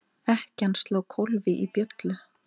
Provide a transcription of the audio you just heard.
Ekkjan sló kólfi í bjöllu.